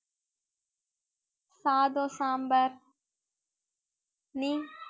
சாதம், சாம்பார் நீ